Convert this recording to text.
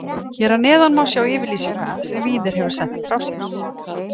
Hér að neðan má sjá yfirlýsinguna sem Víðir hefur sent frá sér.